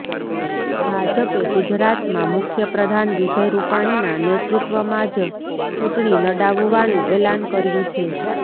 ભાજપે ગુજરાતમાં મુખ્યપ્રધાન વિજય રૂપાણીના નેતૃત્વમાં જ ચૂંટણી લડાવવાનું એલાન કર્યું છે